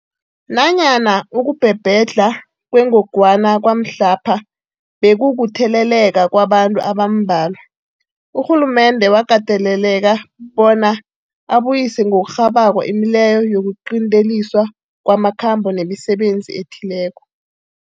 Nanyana ukubhebhedlha kwengogwana kwamhlapha bekukutheleleka kwabantu abambalwa, urhulumende wakateleleka bona abuyise ngokurhabako imileyo yokuqinteliswa kwamakhambo nemisebenzi ethileko.